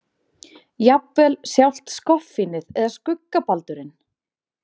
Jafnvel sjálft skoffínið eða skuggabaldurinn.